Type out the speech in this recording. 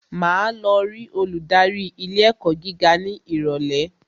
Màá lọ rí olùdarí ilé ẹ̀kọ́ gíga ní ìrọ̀lẹ́